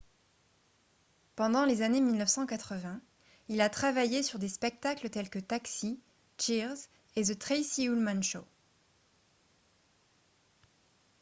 pendant les années 1980 il a travaillé sur des spectacles tels que taxi cheers et the tracy ullman show